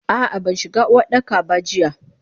Ah ah banshiga Uwardaka ba jiya.